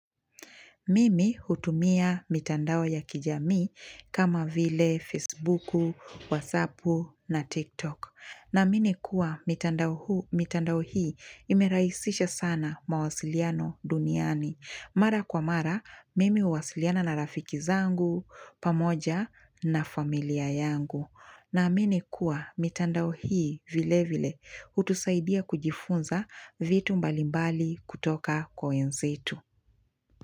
Mimi hutumia mitandao ya kijamii kama vile Facebook, WhatsApp na TikTok. Naamini kuwa mitandao hii, mitandao hii imerahisisha sana mawasiliano duniani. Mara kwa mara, mimi huwasiliana na rafiki zangu, pamoja na familia yangu. Naamini kuwa mitandao hii vile vile hutusaidia kujifunza vitu mbalimbali kutoka kwa wenzetu.